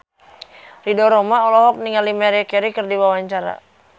Ridho Roma olohok ningali Maria Carey keur diwawancara